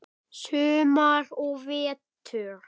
Sumar og vetur.